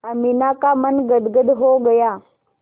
अमीना का मन गदगद हो गया